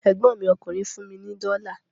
Ẹ̀gbọ́n mi ọkùnrin fún mi ní dọ́la